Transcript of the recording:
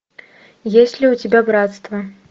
есть ли у тебя братство